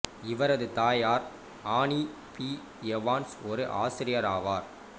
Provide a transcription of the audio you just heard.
இவரது தாயார் Annie B Evans ஒரு ஆசிரியர் ஆவார்